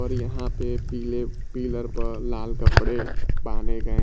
और यहां पे पीले पिलर पर लाल कपड़े बाने गए --